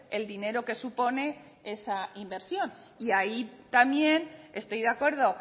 el dinero que supone esa inversión y ahí también estoy de acuerdo